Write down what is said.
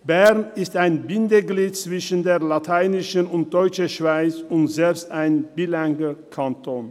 Bern ist ein Bindeglied zwischen der lateinischen und der deutschen Schweiz und selbst ein zweisprachiger Kanton.